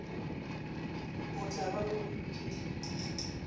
o tla ba o bolokile